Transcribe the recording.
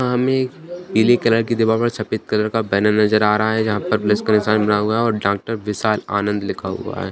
पीली कलर की दीवाल पर छपेद कलर का बैनर नजर आ रहा है जहां पर प्लस का निशान बना हुआ है और डॉक्टर विशाल आनंद लिखा हुआ है।